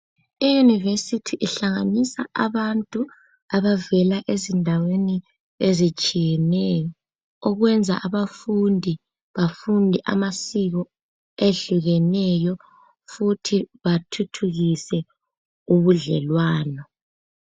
Iyunivesithi ihlanganisa abantu abavela kuzindaweni ezitshiyeneyo okwenza abafundi bafunde amasiko ayehlukeneyo futhi bathuthukise ubudlelwano.